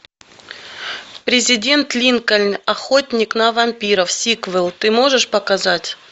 президент линкольн охотник на вампиров сиквел ты можешь показать